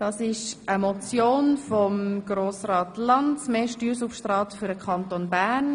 Es geht um eine Motion von Grossrat Lanz mit dem Titel: «Mehr Steuersubstrat für den Kanton Bern.